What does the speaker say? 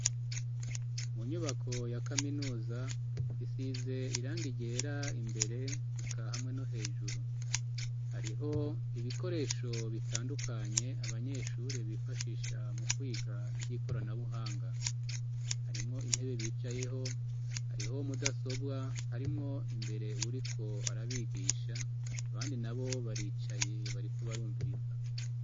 Mu nyubako ya kaminuza isize irangi ryera imbere eka hamwe no hejuru hariho ibikoresho bitandukanye abanyeshuri bifashisha mu kwiga ivyikoranabuhanga harimwo intebe bicayeho hariho mudasobwa harimwo imbere uriko arabigisha abandi nabo baricaye bariko barumviriza